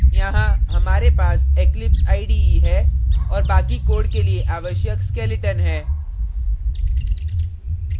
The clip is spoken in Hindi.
यहाँ हमारे पास eclipse ide है और बाकि code के लिए आवश्यक skeleton है